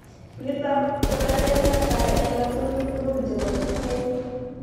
nitok ko tetet netai eng ngatutik tukul chebo tungwek